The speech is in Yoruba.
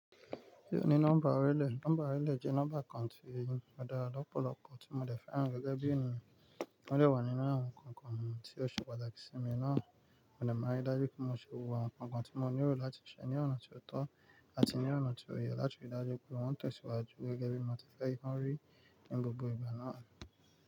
Se oo ní nọ́mbà orílẹ̀. Nọ́mbà orílẹ̀ jẹ́ nọ́mbà kan ti. Ó dára lọ́pọ̀lọpọ̀ tí mo dè fẹ́ràn gẹ́gẹ́ bí ènìyàn. Ó dè wà nínú àwọn nǹkan kan tí ó ṣe pàtàkì sí mi náà. Mo dè ma rí dájú pé mo ṣe gbogbo àwọn nǹkan tí mo nílò láti ṣe ní ọ̀nà tó tọ́ àti ní ọ̀nà tó yẹ láti rí i dájú pé mo tẹ̀síwájú gẹ́gẹ́ bí mo ti fẹ́ kí wọ́n rí ní gbogbo ìgbà náà.